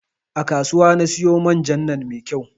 A kasuwa na siyo man jan nan mai kyau